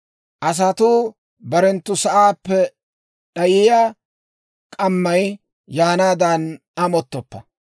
Asatuu barenttu sa'aappe d'ayiyaa k'ammay yaanaadan amottoppa.